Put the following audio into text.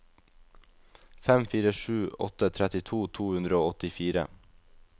fem fire sju åtte trettito to hundre og åttifire